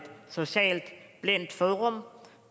socialt blindt forum